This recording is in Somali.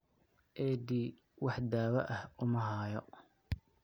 AD wax daawo ah uma hayo.